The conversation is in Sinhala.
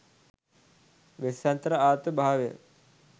වෙස්සන්තර ආත්ම භාවය